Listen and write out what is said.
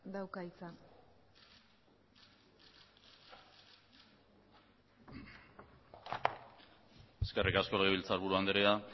dauka hitza eskerrik asko legebiltzarburu andrea